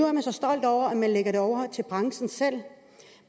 er man så stolt over at man lægger det over til branchen selv